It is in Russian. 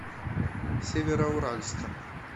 североуральском